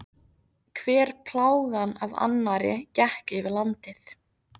Hver plágan af annarri gekk yfir landið.